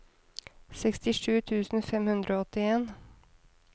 sekstisju tusen fem hundre og åttien